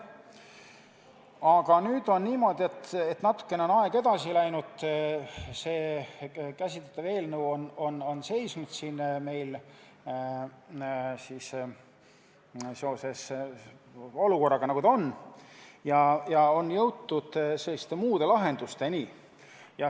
Aga nüüd on niimoodi, et natukene on aeg edasi läinud, käsitletav eelnõu on meil siin seoses praeguse olukorraga seisnud ja jõutud on muude lahendusteni.